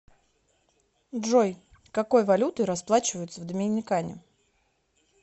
джой какой валютой расплачиваются в доминикане